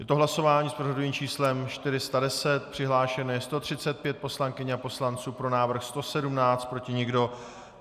Je to hlasování s pořadovým číslem 410, přihlášeno je 135 poslankyň a poslanců, pro návrh 117, proti nikdo.